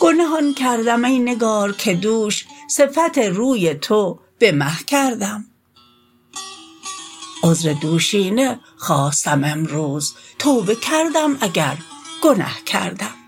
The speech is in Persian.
گنه آن کردم ای نگار که دوش صفت روی تو به مه کردم عذر دوشینه خواستم امروز توبه کردم اگر گنه کردم